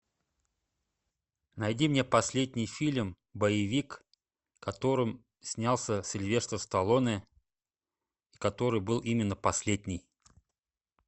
найди мне последний фильм боевик в котором снялся сильвестр сталлоне и который был именно последний